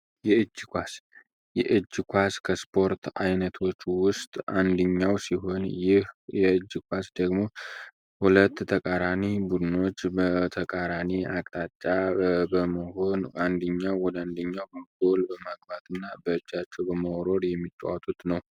የእጅ ኳስ፤ የእጅ ኳስ ከእስፖርት አይነቶች ዉስጥ አንደኛው ሲሆን ይህ የእጅ ኳስ ደግሞ ሁለት ታቃራኒ መድኖች በተቃራኒ በመሆን አንደኛዉ ወደ አንደኛዉ ጎል ያገባል።